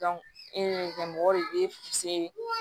e ka mɔgɔ de bɛ